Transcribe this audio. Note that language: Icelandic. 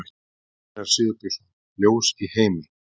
Einar Sigurbjörnsson: Ljós í heimi.